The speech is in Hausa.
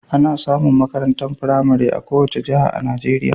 Ana samun makarantar firamare a kowace jiha a Najeriya.